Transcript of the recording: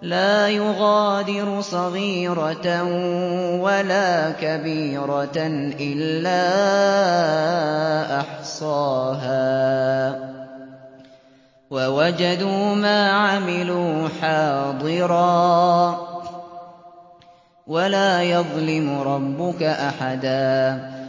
لَا يُغَادِرُ صَغِيرَةً وَلَا كَبِيرَةً إِلَّا أَحْصَاهَا ۚ وَوَجَدُوا مَا عَمِلُوا حَاضِرًا ۗ وَلَا يَظْلِمُ رَبُّكَ أَحَدًا